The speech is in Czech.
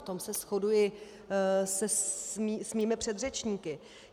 V tom se shoduji se svými předřečníky.